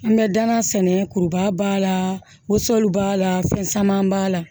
An bɛ danna sɛnɛ kuruba b'a la woson b'a la fɛn caman b'a la